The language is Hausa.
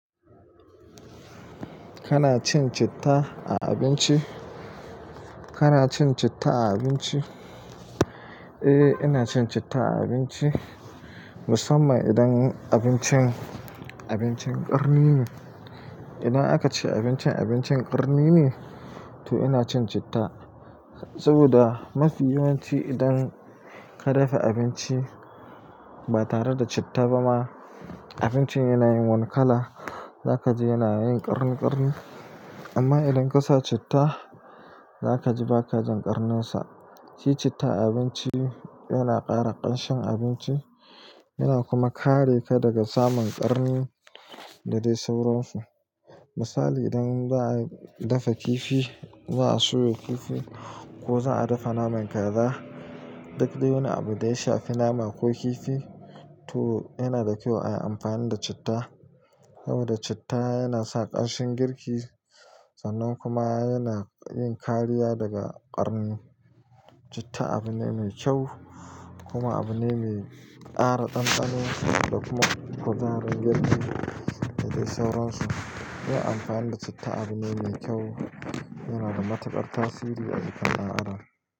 Kana cin citta a abinci? Kana cin citta a abinci? Eh, ina cin citta a abinci musamman idan abincin, abincin ƙarni ne. Idan aka ce abincin, abincin ƙarni ne, to ina cin citta. Saboda mafi yawanci idan ka dafa abinci ba tare da citta ba ma, abincin yana yin wani kala. Zaka ji yana yin ƙarni-ƙarni. Amma idan ka sa citta, zaka ji ba ka jin ƙarninsa. Shi citta a abinci yana ƙara ƙanshin abinci, yana kuma kare ka daga samun ƙarni da dai sauransu. Misali idan za'a dafa kifi, za'a soya kifi ko za'a dafa naman kaza, duk dai wani abu da ya shafi nama ko kifi, to yana da kyau a yi amfani da citta, saboda citta yana sa ƙanshin girki sannan kuma yana yin kariya daga ƙarni. Citta abu ne mai kyau, kuma abu ne mai ƙara ɗanɗano da kuma kuzarin girki, da dai sauransu. Yin amfani da citta abu ne mai kyau, yana da matuƙar tasiri a jikin ɗan Adam.